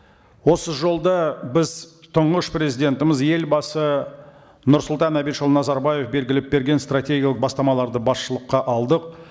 осы жолда біз тұңғыш президентіміз елбасы нұрсұлтан әбішұлы назарбаев белгілеп берген стратегиялық бастамаларды басшылыққа алдық